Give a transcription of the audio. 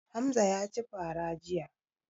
Hamza ya ci fara jiya.